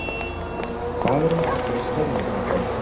Hvað eru margir að störfum þarna?